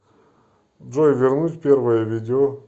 джой вернуть первое видео